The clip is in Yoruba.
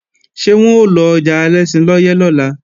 Ṣé wọ́n ó lọjà Alẹ́ṣinlọ́yẹ́ lọ́la?